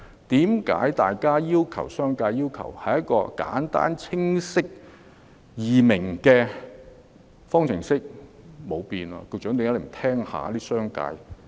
商界只是要求一道簡單、清晰易明的方程式，但最終卻不經修改。